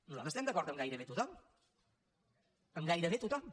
nosaltres estem d’acord amb gairebé tothom amb gairebé tothom